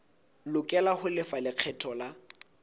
lokela ho lefa lekgetho la